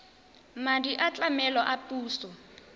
madi a tlamelo a puso